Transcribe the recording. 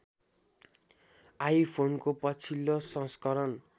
आइफोनको पछिल्लो सँस्कारण